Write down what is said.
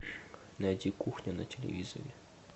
найти кухня на телевизоре